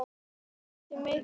Áhættan er mikil.